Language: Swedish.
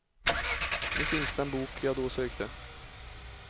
Nu finns den bok jag då sökte.